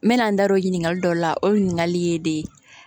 N mɛna n da don o ɲininkali dɔ la o ɲininkali ye de ye